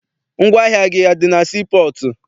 Ngwaahịa gị adị na sii pọọtụ?